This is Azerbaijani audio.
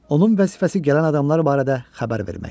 Onun vəzifəsi gələn adamlar barədə xəbər verməkdir.